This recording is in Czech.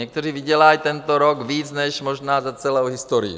Někteří vydělají tento rok víc než možná za celou historii.